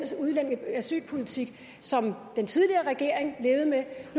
asylpolitik som den tidligere regering levede med